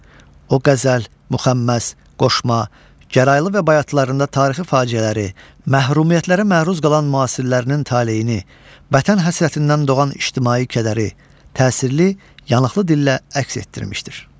O qəzəl, müxəmməs, qoşma, gəraylı və bayatılarında tarixi faciələri, məhrumiyyətlərə məruz qalan müasirlərinin taleyini, vətən həsrətindən doğan ictimai kədəri təsirli, yanıqlı dillə əks etdirmişdir.